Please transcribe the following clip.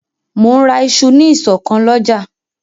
Mò ń ra isu ní ìsọ̀ kan lọ́jà